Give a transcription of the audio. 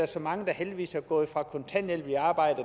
så mange der heldigvis er gået fra kontanthjælp til arbejde